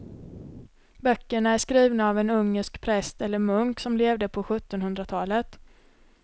Böckerna är skrivna av en ungersk präst eller munk som levde på sjuttonhundratalet.